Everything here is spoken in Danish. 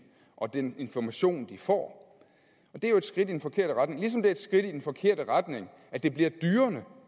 og den information de får det er jo et skridt i den forkerte retning ligesom det er et skridt i den forkerte retning at det bliver